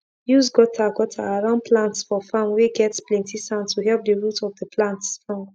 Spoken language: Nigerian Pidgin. use gutter gutter around plants for farm whey get plenty sand to help the root of the plants strong